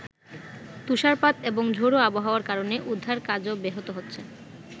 তুষারপাত এবং ঝোড়ো আবহাওয়ার কারণে উদ্ধার কাজও ব্যাহত হচ্ছে।